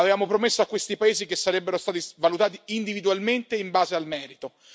Avevamo promesso a questi paesi che sarebbero stati valutati individualmente in base al merito.